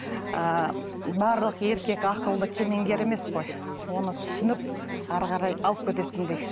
ыыы барлық еркек ақылды кеменгер емес қой оны түсініп әрі қарай алып кететіндей